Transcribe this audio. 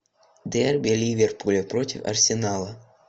дерби ливерпуля против арсенала